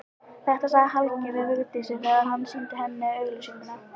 Þetta sagði Helgi við Vigdísi þegar hann sýndi henni auglýsinguna.